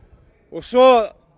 svo